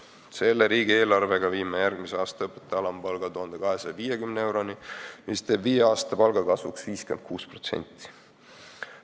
Selle riigieelarvega me tõstame järgmisel aastal õpetajate alampalga 1250 euroni, mis teeb viie aasta palgakasvuks 56%.